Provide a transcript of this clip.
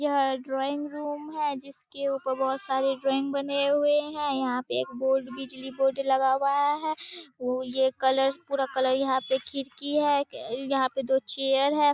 यह drawing room है जिसके ऊपर बहुत सारे ड्राइंग बने हुए है यहाँ पे एक बोर्ड बिजली बोर्ड लगा हुआ है ये कलर पूरा कलर यहाँ पे खिड़की है यहाँ पे दो चेयर है।